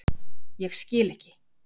Ég skil ekki